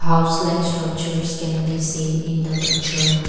house likes structures can be seen in the picture.